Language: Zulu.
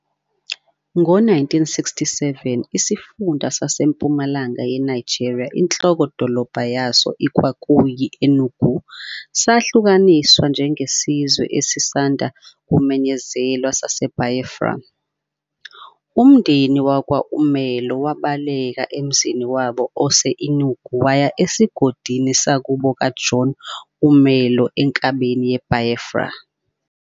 Ngo-1967, Isifunda SaseMpumalanga yeNigeria, inhloko-dolobha yaso kwakuyi- Enugu, sahlukaniswa njengesizwe esisanda kumenyezelwa saseBiafra. Umndeni wakwa-Umelo wabaleka emzini wabo ose-Enugu waya esigodini sakubo ka-John Umelo enkabeni ye-Biafra.